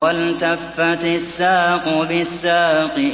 وَالْتَفَّتِ السَّاقُ بِالسَّاقِ